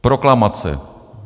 Proklamace.